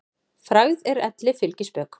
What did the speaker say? Frægð er elli fylgispök.